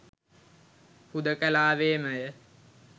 හුදෙකලාවේමය